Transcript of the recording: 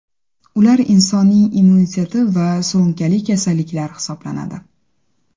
Ular insonning immuniteti va surunkali kasalliklar hisoblanadi.